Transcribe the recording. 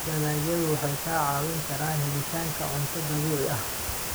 Dalagyadu waxay kaa caawin karaan helitaanka cunto dabiici ah.